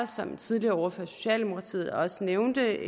som den tidligere ordfører fra socialdemokratiet også nævnte